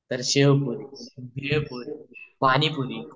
तर शेवपुरी भेळपुरी पाणीपुरी